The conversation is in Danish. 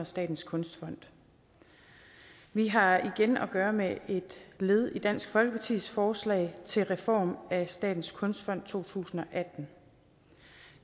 statens kunstfond vi har igen at gøre med et led i dansk folkepartis forslag til reform af statens kunstfond to tusind og atten